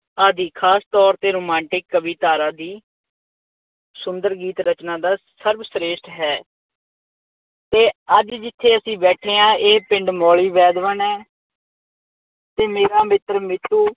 ਆਦਿ ਖਾਸ ਤੌਰ ਤੇ ਰੁਮਾਂਟਿਕ ਕਵੀ ਧਾਰਾ ਦੀ ਸੁੰਦਰ ਗੀਤ ਰਚਨਾ ਦਾ ਸਰਬ ਸ੍ਰੇਸ਼ਠ ਹੈ। ਅਤੇ ਅੱਜ ਜਿੱਥੇ ਅਸੀਂ ਬੈਠੇ ਹਾਂ ਇਹ ਪਿੰਡ ਮੌਲੀ ਵੈਦਵਾਨ ਹੈ। ਅਤੇ ਮੇਰਾ ਮਿੱਤਰ ਮੇ ਤੋਂ